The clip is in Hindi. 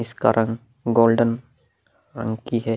इसका रंग गोल्डन रंग की है।